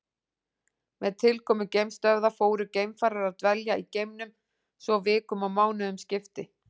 Með tilkomu geimstöðva fóru geimfarar að dvelja í geimnum svo vikum og mánuðum skipti.